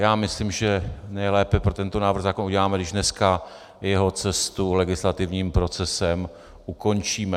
Já myslím, že nejlépe pro tento návrh zákona uděláme, když dneska jeho cestu legislativním procesem ukončíme.